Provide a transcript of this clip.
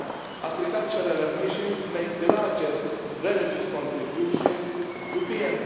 Agricultural emissions make the largest relative contribution to